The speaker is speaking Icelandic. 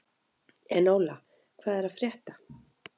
Enóla, hvað er að frétta?